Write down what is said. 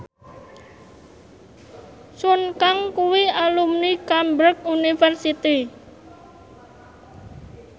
Sun Kang kuwi alumni Cambridge University